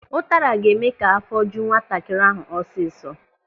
Ụtara ga-eme ka afọ ju nwatakịrị ahụ ọsịsọ.